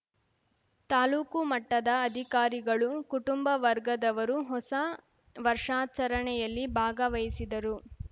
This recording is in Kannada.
ತಾಲೂಕು ಮಟ್ಟದ ಅಧಿಕಾರಿಗಳು ಕುಟುಂಬ ವರ್ಗದವರು ಹೊಸ ವರ್ಷಾಚರಣೆಯಲ್ಲಿ ಭಾಗವಹಿಸಿದರು